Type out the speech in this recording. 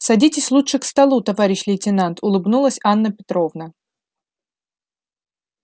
садитесь лучше к столу товарищ лейтенант улыбнулась анна петровна